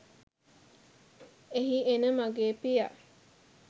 එහි එන මගේ පියා